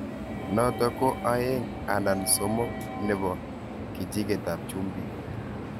Natok ko 2/3 nepo kijigeet ap chumbiik.